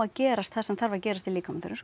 gerast það sem þarf að gerast í líkamanum